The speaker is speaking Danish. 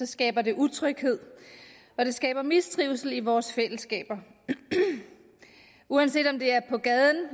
skaber det utryghed og det skaber mistrivsel i vores fællesskaber uanset om det er på gaden